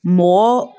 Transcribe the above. Mɔgɔ